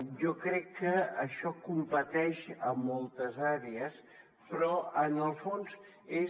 jo crec que això competeix a moltes àrees però en el fons és